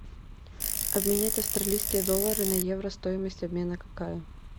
обменять австралийские доллары на евро стоимость обмена какая